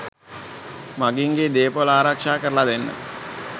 මගීන්ගේ දේපොළ ආරක්ෂා කරල දෙන්න